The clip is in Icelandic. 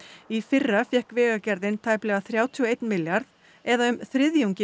í fyrra fékk Vegagerðin tæplega þrjátíu og einn milljarð eða um þriðjungi